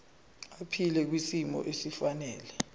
aphile kwisimo esifanele